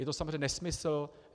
Je to samozřejmě nesmysl.